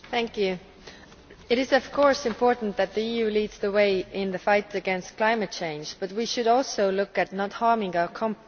Madam President, it is of course important that the EU leads the way in the fight against climate change, but we should also look at not harming our companies.